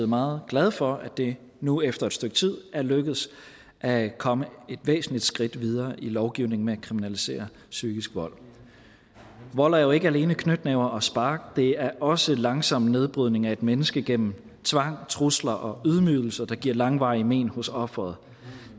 meget glad for at det nu efter et stykke tid er lykkedes at komme et væsentligt skridt videre i lovgivningen med at kriminalisere psykisk vold vold er jo ikke alene knytnæver og spark det er også langsom nedbrydning af et menneske gennem tvang trusler og ydmygelser der giver langvarige men hos offeret